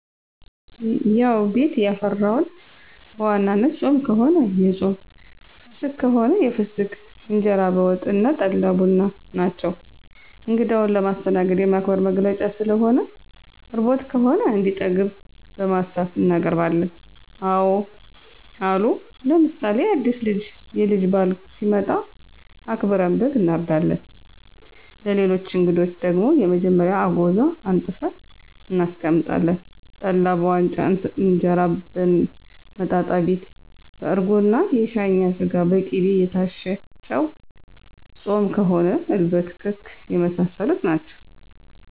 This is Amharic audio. ያዉ ቤት ያፈራዉን፦ በዋናነት ጾም ከሆነ የጾም ፍስክ ከሆነ የፍሰክ እንጀራ በወጥ አና ጠላ፣ ቡና ናቸዉ። እንግዳዉን ለማስተናገድ፣ የማክበር መገለጫ ስለሆነ፣ ርቦት ከሆነ እንዲጠግብ በማሰብ እናቀርባለን። አወ አሉ ለምሳሌ አዲስ የልጅ ባል ሲመጣ አክብረን በግ አናርዳለን፣ ለሌሎች አንግዶች ደግሞ መጀመሪያ አጎዛ አንጥፈን እናስቀምጣለን፣ ጠላ በዋንጫ እንጀራ በመጣጣቢት በአርጎና የሻኛ ስጋ፣ በቂቤ የታሸ ጨዉ፣ ጾም ከሆነ እልበት፣ ክክ የመሳሰሉት ናቸዉ።